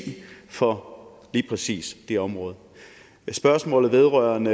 for lige præcis det område spørgsmålet vedrørende